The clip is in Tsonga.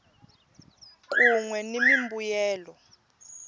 kun we ni mimbuyelo